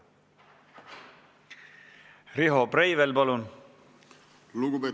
Riho Breivel, palun!